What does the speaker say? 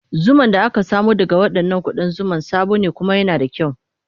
Zuman da aka samo daga waɗannan ƙudan zuma sabo ne kuma yana da kyau.